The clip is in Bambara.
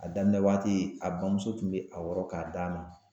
A daminɛ waati a bamuso tun be a wɔrɔ k'a d'a ma.